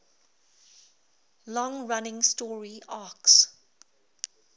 long running story arcs